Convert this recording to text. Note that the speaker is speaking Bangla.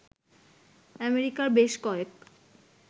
আমেরিকার বেশ কয়েক